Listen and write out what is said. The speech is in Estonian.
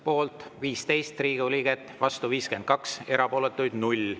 Poolt 15 Riigikogu liiget, vastu 52, erapooletuid 0.